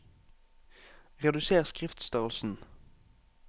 Reduser skriftstørrelsen